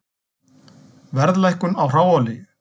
Verðlækkun á hráolíu